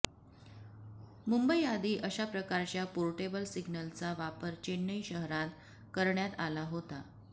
मुंबईआधी अशाप्रकारच्या पोर्टेबल सिग्नलचा वापर चेन्नई शहरात करण्यात आला होता